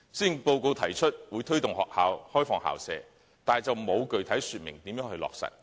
施政報告提出推動學校開放校舍，但沒有具體說明如何落實。